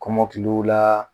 Kɔmɔkiliw la